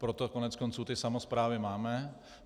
Proto koneckonců ty samosprávy máme.